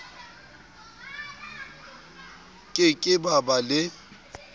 ke ke ba ba le